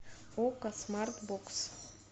окко смарт бокс